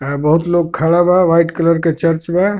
बहुत लोग खड़ा बा व्हाइट कलर के चर्च बा.